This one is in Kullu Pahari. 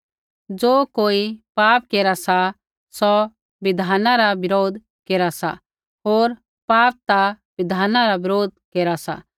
ज़ो कोई पाप केरा सा सौ बिधाना रा बरोध केरा सा होर पाप ता बिधाना रा बरोध केरा सा